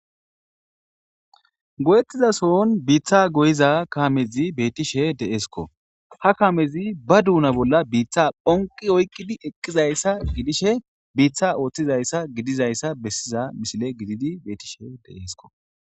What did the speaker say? Goyettiza sohon biitta goyiza kaamezi bettishe de'esikko ha kamezi ba duunna bolla biitta bonqi oykidii eqqidayssa gidishe biitta ooththizayssa gididayssa besiza misile gididi bettishe de'esikko